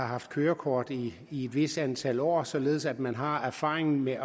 haft kørekort i et vist antal år således at man har erfaringen med